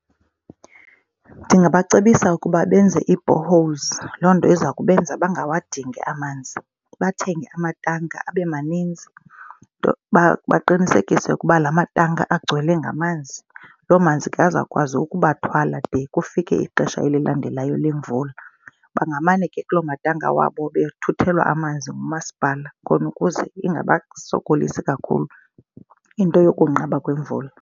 Ndingabacebisa ukuba benze iiboreholes. Loo nto iza kubenza bangawadingi amanz.i Bathenge amatanki abe maninzi. Baqinisekise ukuba la matanki agcwele ngamanzi. Loo manzi ke azawukwazi ukubathwala de kufike ixesha elilandelayo lemvula. Bangamane ke kuloo matanka wabo bethuthelwa amanzi ngumasipala khona ukuze ingasbasokolisi kakhulu into yokunqaba kwemvula.